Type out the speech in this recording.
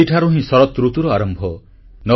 ଏହିଠାରୁ ହିଁ ଶରତ ଋତୁର ଆରମ୍ଭ